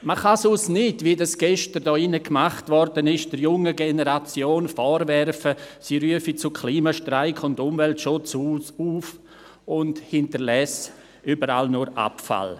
Man kann sonst der jungen Generation nicht vorwerfen, wie dies gestern hier in diesem Saal gemacht wurde, sie rufe zu Klimastreik und Umweltschutz auf und hinterlasse überall nur Abfall.